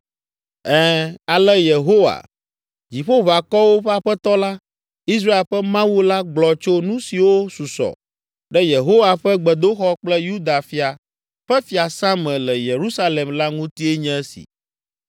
Ɛ̃, ale Yehowa, Dziƒoʋakɔwo ƒe Aƒetɔ la, Israel ƒe Mawu la gblɔ tso nu siwo susɔ ɖe Yehowa ƒe gbedoxɔ kple Yuda fia ƒe fiasã me le Yerusalem la ŋutie nye esi: